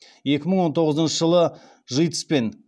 екі мың он тоғызыншы жылы житс пен